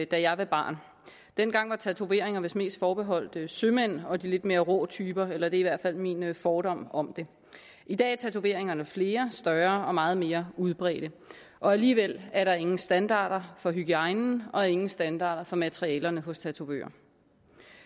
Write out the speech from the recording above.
da jeg var barn dengang var tatoveringer vist mest forbeholdt sømænd og de lidt mere rå typer eller det er i hvert fald min fordom om det i dag er tatoveringerne flere større og meget mere udbredte og alligevel er der ingen standarder for hygiejnen og ingen standarder for materialerne hos tatovører